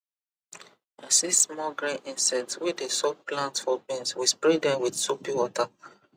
i see small green insect wey dey suck plant for beans we spray dem with soapy water